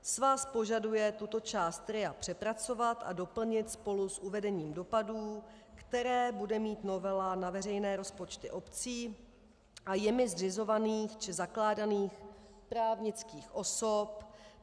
Svaz požaduje tuto část RIA přepracovat a doplnit spolu s uvedením dopadů, které bude mít novela na veřejné rozpočty obcí a jimi zřizovaných či zakládaných právnických osob.